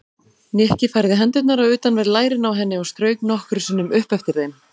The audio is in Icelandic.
Nikki færði hendurnar á utanverð lærin á henni og strauk nokkrum sinnum upp eftir þeim.